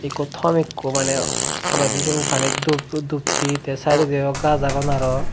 ikko tomb ikko maney toledi siyen panit dub duppe te saidodi aley gajch agon aro.